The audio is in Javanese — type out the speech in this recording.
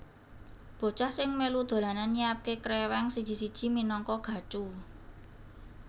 Bocah sing mélu dolanan nyiapke krèwèng siji siji minangka gacu